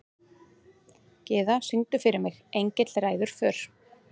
Gyða, syngdu fyrir mig „Engill ræður för“.